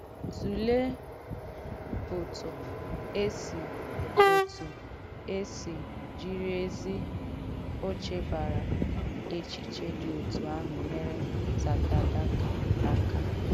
Tùléè òtụ e si òtụ e si jīrī èzī òchèbàrà èchēchīē dī òtụ àhụ̀ nyèrē Tàdàtàkà aka.